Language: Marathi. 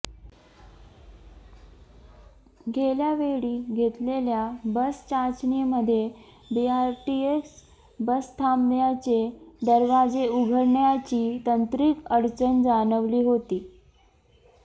गेल्यावेळी घेतलेल्या बस चाचणीमध्ये बीआरटीएस बसथांब्यांचे दरवाजे उघडण्याची तांत्रिक अडचण जाणवली होती